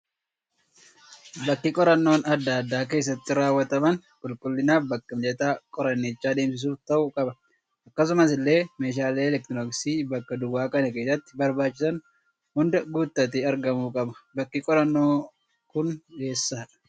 Bakki qorannoon addaa addaa keessatti raawwataman, qulqulliinaa fi bakka mijataa qoranicha adeemsisuuf ta'uu qaba. Akkasuma illee meeshaalee eleektirooniksii bakka duwwaa kana keessatti barbaachisan hunda guutatee argamuu qaba. Bakki qorannoo kun eessadha?